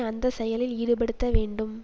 அந்த செயலில் ஈடுபடுத்த வேண்டும்